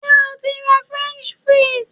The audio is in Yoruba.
Ṣé o ti ra French fries?